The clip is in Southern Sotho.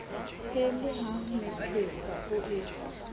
e le hamethepa o e